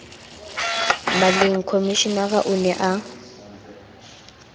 maleng komishenara o ne a